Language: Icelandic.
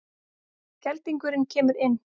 Geldingurinn kemur inn.